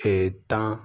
tan